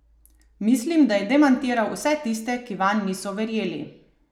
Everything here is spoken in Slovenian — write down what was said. Mislim, da je demantiral vse tiste, ki vanj niso verjeli.